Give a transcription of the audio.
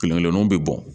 Kelen kelennuw be bɔn